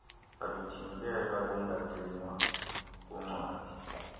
aluthintela lungagcinwa kuncwadi